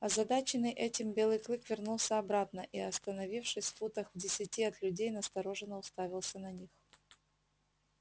озадаченный этим белый клык вернулся обратно и остановившись футах в десяти от людей настороженно уставился на них